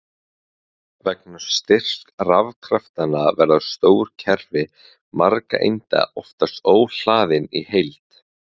Vegna styrks rafkraftanna verða stór kerfi margra einda oftast óhlaðin í heild.